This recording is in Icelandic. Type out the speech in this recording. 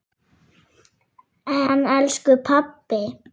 En elsku pabbi!